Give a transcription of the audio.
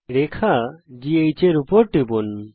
রেখা GH এর উপর টিপুন